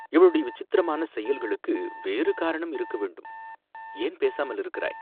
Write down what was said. இவளுடைய விசித்திரமான செயல்களுக்கு வேறு காரணம் இருக்க வேண்டும், ஏன் பேசாமலிருக்கிறாய்